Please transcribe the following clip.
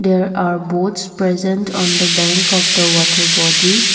there are boats present on the bank of the water body.